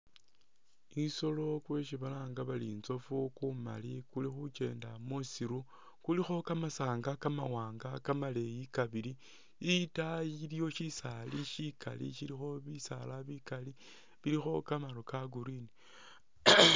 Kusolo kwesi balanga bari intsoofu kumali kuli khukenda musiru kulikho kamasanga kamawaanga kamaleyi kabili itaayi iliyo shisaali shikali shilikho bisaala bikali bilikho kamaru ka green